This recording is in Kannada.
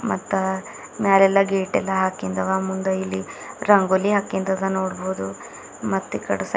ಅತ್ತ ಮ್ಯಲೆಲ್ಲ ಗೇಟ್ ಎಲ್ಲ ಹಾಕಿಂದವಾ ಮುಂದ ಇಲ್ಲಿ ರಂಗೋಲಿ ಆ ಕಿಂದದ ನೋಡಬಹುದು ಮತ್ತೆ ಕಡೆ ಸೈಡ್ --